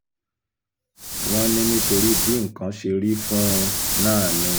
wọ́n ní nítorí bí nǹkan ṣe rí fún un náà ni